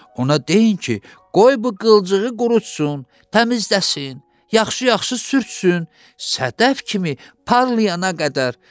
Ona deyin ki, qoy bu qılçığı qurusun, təmizləsin, yaxşı-yaxşı sürtsün, sədəf kimi parlayana qədər.